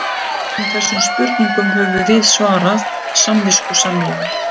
Öllum þessum spurningum höfum við svarað samviskusamlega.